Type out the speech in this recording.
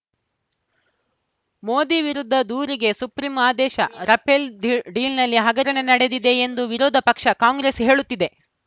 ಮೋದಿ ವಿರುದ್ಧ ದೂರಿಗೆ ಸುಪ್ರೀಂ ಆದೇಶ ರಫೇಲ್‌ ಡೀಲ್‌ ಡೀಲ್‌ನಲ್ಲಿ ಹಗರಣ ನಡೆದಿದೆ ಎಂದು ವಿರೋಧ ಪಕ್ಷ ಕಾಂಗ್ರೆಸ್‌ ಹೇಳುತ್ತಿದೆ